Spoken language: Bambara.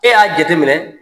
E y'a jate minɛ